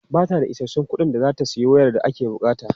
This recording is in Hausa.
Ba ta da isassun kuɗin da za ta sayi wayar da ake buƙata.